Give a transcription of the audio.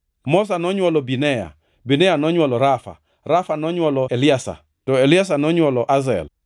Moza nonywolo Binea, Binea nonywolo Rafa, Rafa nonywolo Eliasa, to Eliasa nonywolo Azel.